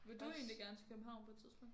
Vil du egentlig gerne til København på et tidspunkt?